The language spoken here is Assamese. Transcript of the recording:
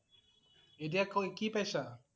এতিয়া ক~কি পইছা?